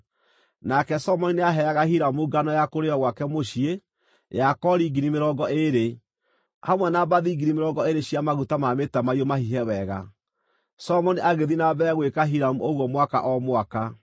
Nake Solomoni nĩaheaga Hiramu ngano ya kũrĩĩo gwake mũciĩ ya kori ngiri mĩrongo ĩĩrĩ, hamwe na mbathi ngiri mĩrongo ĩĩrĩ cia maguta ma mĩtamaiyũ mahihe wega. Solomoni agĩthiĩ na mbere gwĩka Hiramu ũguo mwaka o mwaka.